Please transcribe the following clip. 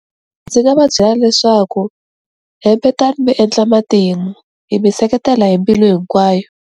Ndzi nga va byela leswaku hitekani mi endla matimu hi mi seketela hi mbilu hinkwayo.